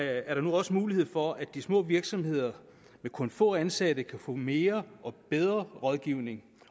er der nu også mulighed for at de små virksomheder med kun få ansatte kan få mere og bedre rådgivning